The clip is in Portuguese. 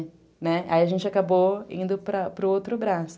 Né, aí a gente acabou indo para o outro braço.